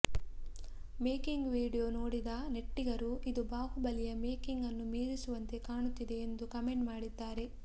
making video ನೋಡಿದ ನೆಟ್ಟಿಗರು ಇದು ಬಾಹುಬಲಿಯ ಮೇಕಿಂಗ್ ನ್ನು ಮೀರಿಸುವಂತೆ ಕಾಣುತ್ತಿದೆ ಎಂದು ಕಮೆಂಟ್ ಮಾಡ್ತಿದ್ದಾರೆ